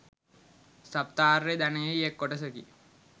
සප්ත ආර්ය ධනයෙහි එක් කොටසකි.